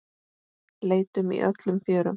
Leitum í öllum fjörum.